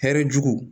Hɛrɛ jugu